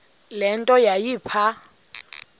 le nto yayipha